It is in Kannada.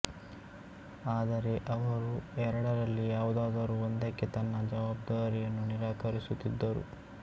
ಆದರೆ ಅವರು ಎರಡರಲ್ಲಿ ಯಾವುದಾದರೂ ಒಂದಕ್ಕೆ ತನ್ನ ಜವಾಬ್ದಾರಿಯನ್ನು ನಿರಾಕರಿಸುತ್ತಿದ್ದರು